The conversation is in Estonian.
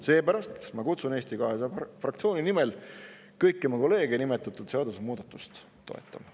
Seepärast ma kutsun Eesti 200 fraktsiooni nimel kõiki oma kolleege nimetatud seadusemuudatust toetama.